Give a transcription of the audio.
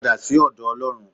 Padà sí ọ̀dọ̀ Ọlọ́run.